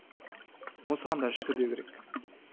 осыған да шүкір деу керек